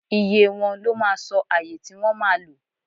iye wọn, lọ mà sọ ayè ti wọn ma lò